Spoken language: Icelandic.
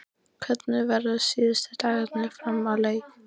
Hvernig verða síðustu dagarnir fram að leik?